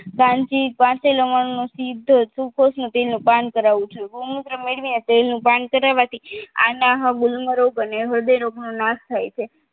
કાંજી કાચો લવણ નો સિદ્ધ સૂકો તેલનું પાન કરાવવું જોઈએ ગૌમૂત્ર મેળવીને તેલનું પાન કરાવા થી આનાહ આબે હ્રદયરોગ નો નસ થાય છે